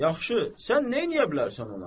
Yaxşı, sən neyləyə bilərsən ona?